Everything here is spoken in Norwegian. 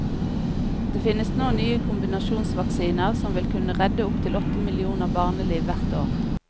Det finnes nå nye kombinasjonsvaksiner som vil kunne redde opptil åtte millioner barneliv hvert år.